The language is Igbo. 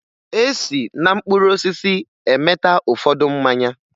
E si na mkpụrụ osisi emeta ụfọdụ mmanya